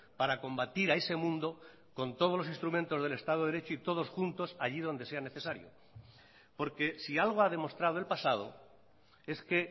para combatir a ese mundo con todos los instrumentos del estado de derecho y todos juntos allí donde sea necesario porque si algo ha demostrado el pasado es que